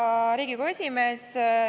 Hea Riigikogu esimees!